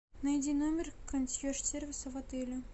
найди номер консьерж сервиса в отеле